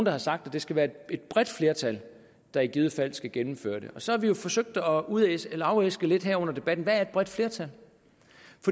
har sagt at det skal være et bredt flertal der i givet fald skal gennemføre det og så har vi jo forsøgt at afæske at afæske lidt her under debatten hvad et bredt flertal